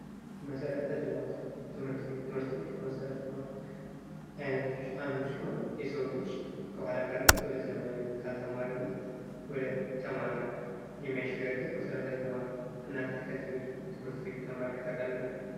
መሰረተ ልማት፤ ትምህርት ቤት፦ ትምህርት ቤት ከመሰረተ ልማት አይነቶች አንዱ ሲሆን የሰውን ልጂ ከኋላቀርነት ወደ ዘመናዊነት፥ ካልተማረነት ወደተማረ የሚያሸጋግር መሰረታዊ ልማት ነው። እናንተ ከዚህ በፊት ትምህርት ቤት ተምራችሁ ታውቃላችሁ?